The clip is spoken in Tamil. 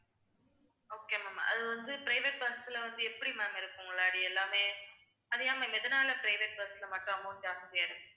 okay ma'am அது வந்து private bus ல வந்து எப்படி ma'am இருக்கும் முன்னாடி எல்லாமே அது ஏன் ma'am எதனால private bus ல மட்டும் amount ஜாஸ்தியா இருக்கு